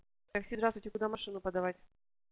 так сейчас туда машину продавать